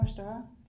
Og større